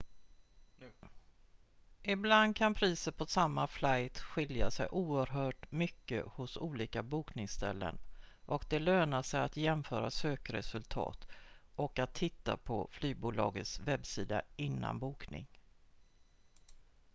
ibland kan priset på samma flight skilja sig oerhört mycket hos olika bokningsställen och det lönar sig att jämföra sökresultat och att titta på flygbolagets webbsida innan bokning